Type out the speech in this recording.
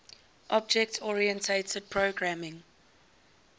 object oriented programming